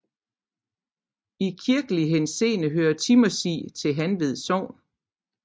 I kirkelig henseende hører Timmersig til Hanved Sogn